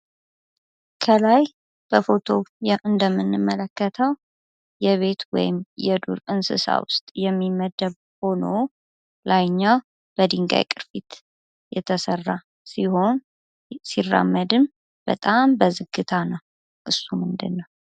ከላይ በፎቶ እንደምንመለከተው የቤት ወይም የዱር እንስሳ ውስጥ የሚመደቡ ሆኖ ላይኛው በድንጋይ ቅርፊት የተሰራ ሲሆን ሲራመድም በጣም በዝግታ ነው። እሱ ምንድን ነው?